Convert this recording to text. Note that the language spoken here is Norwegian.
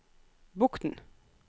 Bokn